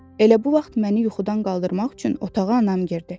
Elə bu vaxt məni yuxudan qaldırmaq üçün otağa anam girdi.